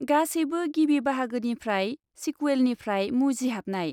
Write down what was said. गासैबो, गिबि बाहागोनिफ्राय सिकुवेलनिफ्राय मुजिहाबनाय।